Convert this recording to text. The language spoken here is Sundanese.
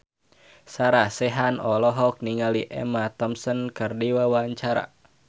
Sarah Sechan olohok ningali Emma Thompson keur diwawancara